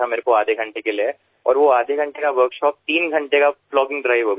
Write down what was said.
અડધા કલાક માટે અને તે અડધા કલાકની કાર્યશાળા ત્રણ કલાકની પ્લોગિંગ ડ્રાઇવ બની ગઈ